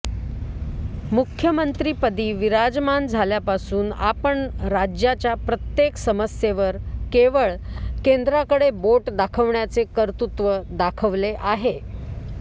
मुख्यमंत्रिपदी विराजमान झाल्यापासून आपण राज्याच्या प्रत्येक समस्येवर केवळ केंद्राकडे बोट दाखविण्याचे कर्तृत्व दाखविले आहे